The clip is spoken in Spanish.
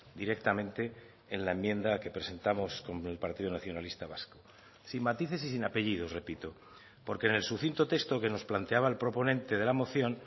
directamente en la enmienda que presentamos con el partido nacionalista vasco sin matices y sin apellidos repito porque en el sucinto texto que nos planteaba el proponente de la moción